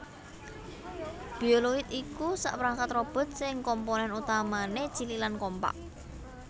Bioloid iku sakperangkat robot sing komponèn utamané cilik lan kompak